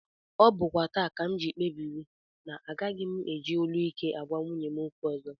Ọ bụkwa taa ka m kpebiri na agaghị m eji olu ike agwa nwunye m okwu ọzọ